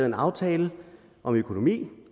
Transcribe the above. en aftale om økonomien